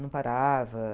Não parava.